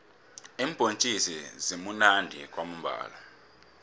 iimbhontjisi zimunandi kwamambhala